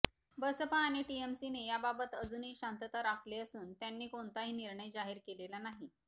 बसपा आणि टीएमसीने याबाबत अजूनही शांतता राखली असून त्यांनी कोणताही निर्णय जाहीर केलेला नाही